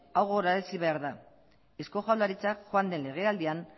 hau gogorazi behar da eusko jaurlaritza joan den legealdian